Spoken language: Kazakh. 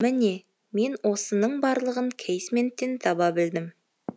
міне мен осының барлығын кейсменттен таба білдім